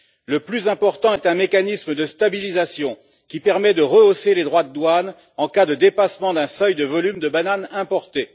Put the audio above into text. Le plus important est un mécanisme de stabilisation, qui permet de rehausser les droits de douane en cas de dépassement d'un seuil de volume de bananes importées.